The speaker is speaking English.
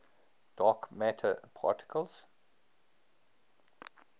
dark matter particles